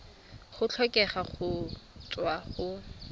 a tlhokega go tswa go